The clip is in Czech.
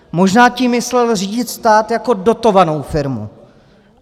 Možná tím myslel řídit stát jako dotovanou firmu.